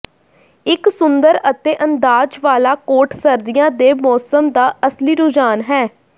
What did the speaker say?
ਇੱਕ ਸੁੰਦਰ ਅਤੇ ਅੰਦਾਜ਼ ਵਾਲਾ ਕੋਟ ਸਰਦੀਆਂ ਦੇ ਮੌਸਮ ਦਾ ਅਸਲੀ ਰੁਝਾਨ ਹੈ